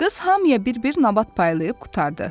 Qız hamıya bir-bir nabat paylayıb qurtardı.